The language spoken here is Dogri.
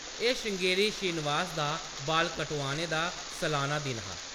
एह्‌‌ श्रृंगेरी श्रीनिवास दा बाल कटोआने दा सलाना दिन हा ।